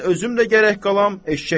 Mən özüm də gərək qalam.